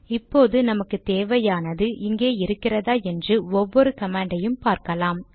இப்போது நமக்கு தேவையானது இங்கே இருக்கிறதா என்று ஒவ்வொரு கமாண்டை யும் பார்க்கலாம்